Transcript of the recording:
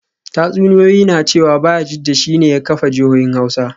Tatsuniyoyi na cewa Bayajidda shi ne ya kafa jihohin Hausa